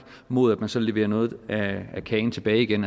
mod at man så leverer noget af kagen tilbage igen